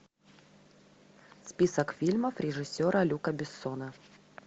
список фильмов режиссера люка бессона